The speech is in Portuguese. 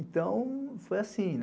Então, foi assim, né?